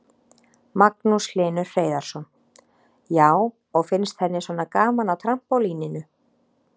Magnús Hlynur Hreiðarsson: Já, og finnst henni svona gaman á trampólíninu?